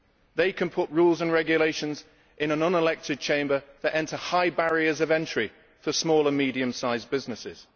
They can put rules and regulations in an unelected Chamber that bring in high barriers of entry for small and medium-sized businesses.